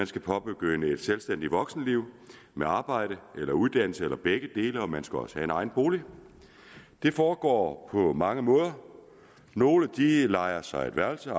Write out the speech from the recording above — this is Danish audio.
skal påbegynde et selvstændigt voksenliv med arbejde eller uddannelse eller begge dele og man skal også have en egen bolig det foregår på mange måder nogle lejer sig et værelse